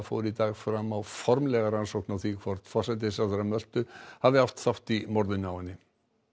fór í dag fram á formlega rannsókn á því hvort forsætisráðherra Möltu hafi átt þátt í morðinu á henni